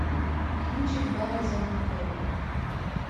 кинчик барри зонненфельда